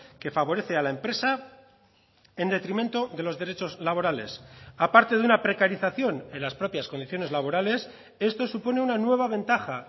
que favorece a la empresa en detrimento de los derechos laborales a parte de una precarización en las propias condiciones laborales esto supone una nueva ventaja